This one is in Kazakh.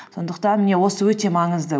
сондықтан міне осы өте маңызды